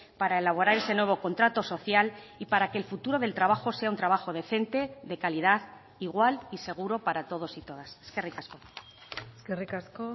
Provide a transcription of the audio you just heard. para elaborar ese nuevo contrato social y para que el futuro del trabajo sea un trabajo decente de calidad igual y seguro para todos y todas eskerrik asko eskerrik asko